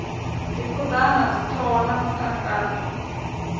ḓi kuḓana dziṱhoho na muṱhanngana